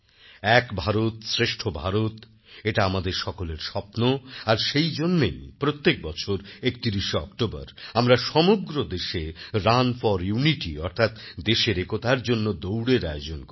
এক ভারত শ্রেষ্ঠ ভারত এটা আমাদের সকলের স্বপ্ন আর সেই জন্যেই প্রত্যেক বছর ৩১ অক্টোবর আমরা সমগ্র দেশে রান ফর ইউনিটি অর্থাৎ দেশেরএকতার জন্য দৌড়ের আয়োজন করি